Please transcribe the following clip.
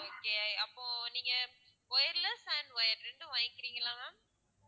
okay அப்போ நீங்க wireless and wired ரெண்டும் வாங்கிக்கிறீங்களா ma'am